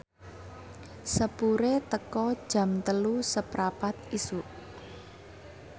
sepure teka Jam telu seprapat isuk